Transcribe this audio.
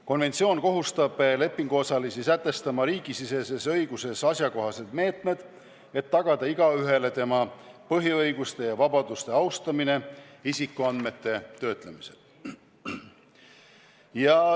Konventsioon kohustab lepinguosalisi sätestama riigisiseses õiguses asjakohased meetmed, et tagada igaühele tema põhiõiguste ja -vabaduste austamine isikuandmete töötlemisel.